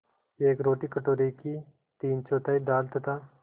एक रोटी कटोरे की तीनचौथाई दाल तथा